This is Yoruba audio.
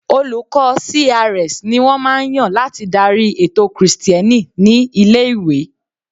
Olùkọ́ CRS ni wọ́n máa ń yàn láti darí ètò krìstẹ́nì ní ilé-ìwé.